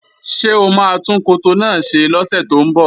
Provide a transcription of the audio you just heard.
Ṣé o máa tún koto náà ṣe lọ́sẹ̀ tó ń bọ̀?